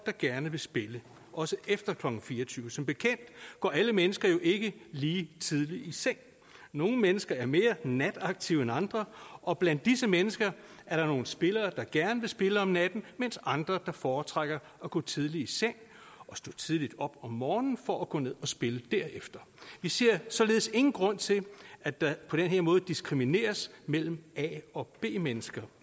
der gerne vil spille også efter klokken fire og tyve som bekendt går alle mennesker jo ikke lige tidligt i seng nogle mennesker er mere nataktive end andre og blandt disse mennesker er der nogle spillere der gerne vil spille om natten mens andre foretrækker at gå tidligt i seng og stå tidligt op om morgenen for at gå ned og spille derefter vi ser således ingen grund til at der på den her måde diskrimineres mellem a og b mennesker